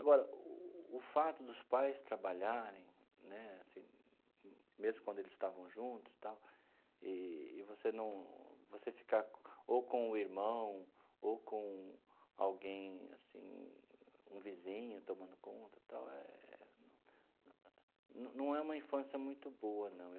Agora, o fato dos pais trabalharem né assim, mesmo quando eles estavam juntos tal, e você num você ficar ou com o irmão ou com alguém assim, um vizinho tomando conta tal eh, não é uma infância muito boa, não.